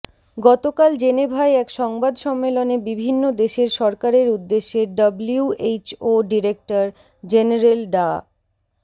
গতকাল জেনেভায় এক সংবাদ সম্মেলনে বিভিন্ন দেশের সরকারের উদ্দেশে ডব্লিউএইচও ডিরেক্টর জেনারেল ডা